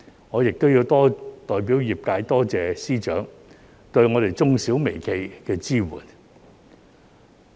我要代表業界多謝司長對中小微企的支援。